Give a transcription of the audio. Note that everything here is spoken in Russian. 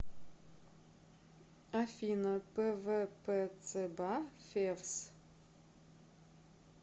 афина пвпцба февс